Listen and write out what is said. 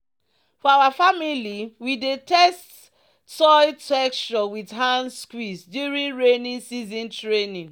"for our family we dey test soil texture with hand squeeze during rainy season training."